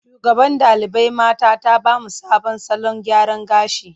Shugaban ɗalibai mata ta ba mu sabon salon gyara gashi.